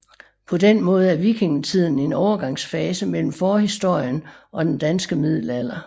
På den måde er vikingetiden en overgangsfase mellem forhistorien og den danske middelalder